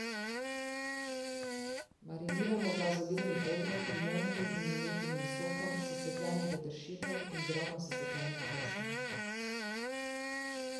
Mariniramo ga z olivnim oljem, limoninim in limetinim sokom, sesekljanim peteršiljem in drobno sesekljanim česnom.